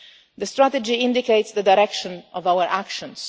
The Strategy indicates the direction of our actions.